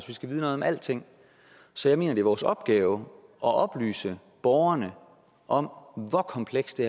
vi skal vide noget om alting så jeg mener det er vores opgave at oplyse borgerne om hvor kompleks det